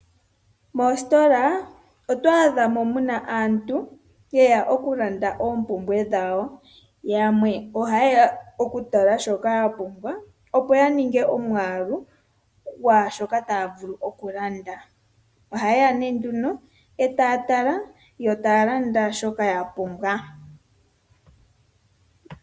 Moositola oto adha muna aantu, yeya okulanda oompumbwe dhawo. Yamwe ohayeya okutala shoka yapumbwa, opo yaninge omwaalu gwaashoka taya vulu okulanda. Ohayeya nduno etaya tala, nokulanda shoka yapumbwa.